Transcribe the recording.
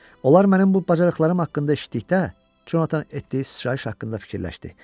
Onlar mənim bu bacarıqlarım haqqında eşitdikdə, Conatan etdiyi sıçrayış haqqında fikirləşdi.